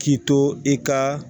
K'i to i ka